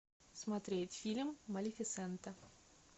смотреть фильм малефисента